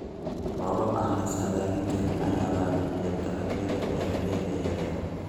Roobab aan la saadaalin karin ayaa baabi'iyay dalagyadii beeralayda yaryar.